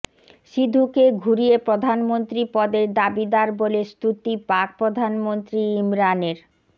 সিধুকে ঘুরিয়ে প্রধানমন্ত্রী পদের দাবিদার বলে স্তুতি পাক প্রধানমন্ত্রী ইমরানের